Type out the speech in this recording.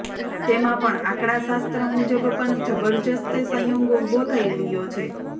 તેમાં પણ આંકડા શાસ્ત્ર મુજબ પણ જબરજસ્ત સંયોગ ઉભો થઈ રહ્યો છે